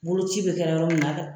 Boloci bɛ kɛla yɔrɔ min na a